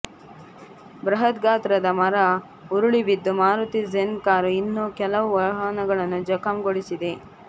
ಬೃಹತ್ ಗಾತ್ರದ ಮರ ಉರುಳಿ ಬಿದ್ದು ಮಾರುತಿ ಜೆನ್ ಕಾರು ಇನ್ನೂ ಕೆಲವು ವಾಹನಗಳನ್ನು ಜಖಂಗೊಳಿಸಿದೆ